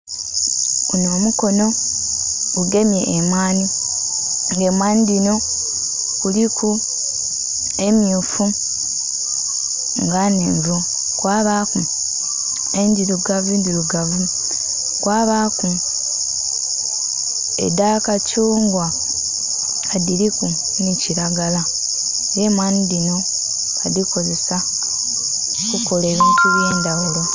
Gunho omukono ogugemye emwanhi Nga emwanhi dhino kuliku emyufu nga nnhevu kwa baku endhirugavu ndirugavu, kwa baku edha kacungwa nga dhiliku nhi kilagala era emwanhi dhino badhikozesa okukola ebintu ebye ndhaghulo.